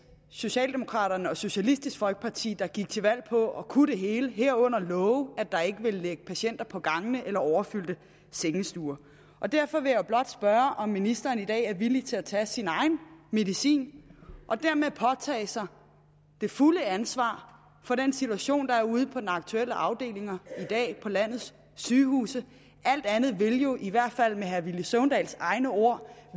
socialdemokraterne og socialistisk folkeparti der gik til valg på at kunne det hele herunder love at der ikke ville ligge patienter på gangene eller på overfyldte sengestuer derfor vil jeg blot spørge om ministeren i dag er villig til at tage sin egen medicin og dermed påtage sig det fulde ansvar for den situation der er ude på de aktuelle afdelinger i dag på landets sygehuse alt andet vil jo i hvert fald med herre villy søvndals egne ord